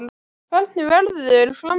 Hvernig verður framhaldið?